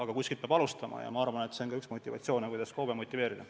Aga kuskilt peab alustama ja ma arvan, et see on ka üks võimalus KOV-e motiveerida.